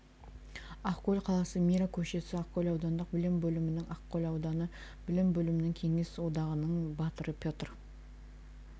ақкөл қаласы мира көшесі ақкөл аудандық білім бөлімінің ақкөл ауданы білім бөлімінің кеңес одағының батыры петр